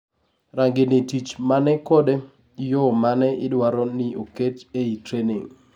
rangi ni tich mane kod yoo mane idwaro ni oket ei training